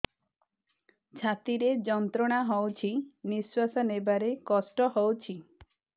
ଛାତି ରେ ଯନ୍ତ୍ରଣା ହଉଛି ନିଶ୍ୱାସ ନେବାରେ କଷ୍ଟ ହଉଛି